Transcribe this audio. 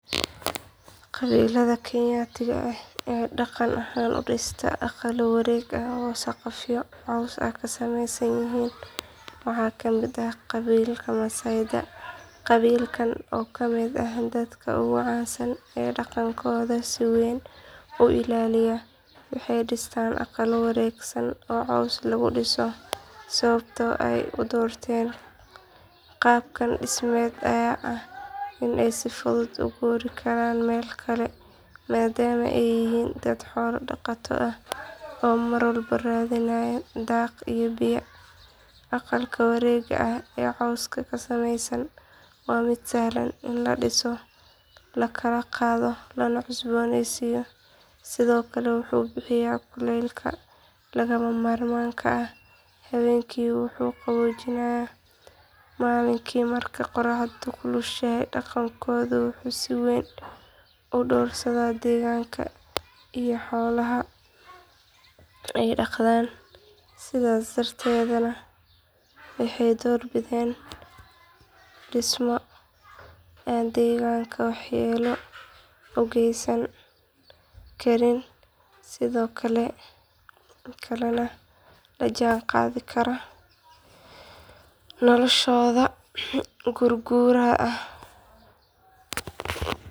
Qabilada kenyatiga eh aya dhaqan ahan udhista aqalada warweg ah oo saqafyo cows kasameeysan yihiin waxakale dhaqa qabilka maasayda, qabilkan oo kamid ah dadka ogu caansan oo dhaqankoda si weyn u illaliya waxay dhistan aqalo waregsan oo cows lugu dhiso sababta ay u doorten qabkan dhismed aya ah inay si fudud uguri karan Mel kale maadama ay yihiin dad xoolo dhaqata ah oo Mar walba raadinayin daaq iyo biya, aqalka wareega ah oo cowska kasameeysan waa mid sahlan in la dhiso lana kala qaado lana cusbooneysiyo sidokale wuxuu bixiya kulleylka lagama marmanka ah sidokale haweenki wuxuu qaboojinaya malinki marka qoraxda kulushehe, dhaqankoda wuxuu si weyn udhoorsadan deegganka iyo xoolaha ay dhaqdan sida darted na waxay door biden dhismo an deegganka wax yeloogeesan karin, sidokale na la Jan qaadi kara noloshooda guguraha ah